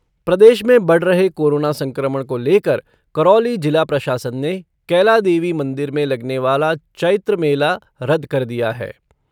प्रदेश में बढ़ रहे कोरोना संक्रमण को लेकर करौली जिला प्रशासन ने कैला देवी मंदिर में लगने वाला चैत्र मेला रद्द कर दिया है।